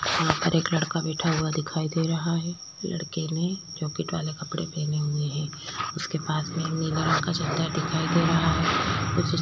वहाँ पर एक लड़का बैठा हुआ दिखाई दे रहा है लड़के ने जैकेट वाले कपडे पहने हुए है उसके पास में एक नीले रंग का चद्दर दिखाई दे रहा है।